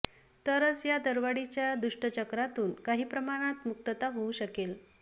तरच या दरवाढीच्या दुष्टचक्रातून काही प्रमाणात मुक्तता होऊ शकेल